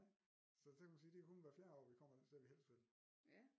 Nej så kan man sige det er kun hvert fjerde år vi kommer det sted vi helst vil